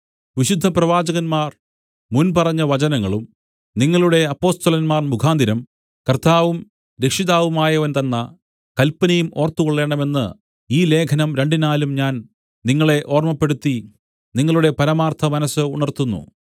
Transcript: വിശുദ്ധപ്രവാചകന്മാർ മുൻപറഞ്ഞ വചനങ്ങളും നിങ്ങളുടെ അപ്പൊസ്തലന്മാർ മുഖാന്തരം കർത്താവും രക്ഷിതാവുമായവൻ തന്ന കല്പനയും ഓർത്തുകൊള്ളേണമെന്ന് ഈ ലേഖനം രണ്ടിനാലും ഞാൻ നിങ്ങളെ ഓർമ്മപ്പെടുത്തി നിങ്ങളുടെ പരമാർത്ഥമനസ്സ് ഉണർത്തുന്നു